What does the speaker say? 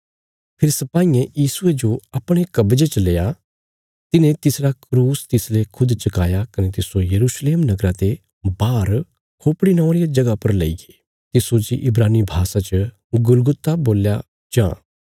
फेरी सिपाईयें यीशुये जो अपणे कब्जे च लेआ तिन्हें तिसरा क्रूस तिसले खुद चकाया कने तिस्सो यरूशलेम नगरा ते बाहर खोपड़ी नौआं रिया जगह पर लेईगे तिस्सो जे इब्रानी भाषा च गुलगुता बोल्या जां